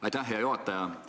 Aitäh, hea juhataja!